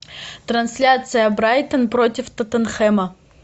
трансляция брайтон против тоттенхэма